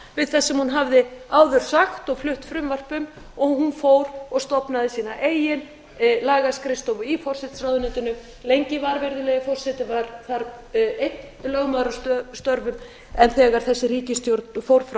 sem hún hafði áður sagt og flutt frumvarp um og hún fór og stofnaði sína eigin lagaskrifstofu í forsætisráðuneytinu lengi var virðulegi forseti var þar einn lögmaður að störfum en þegar þessi ríkisstjórn fór frá